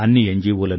అందరూ అన్ని ఎన్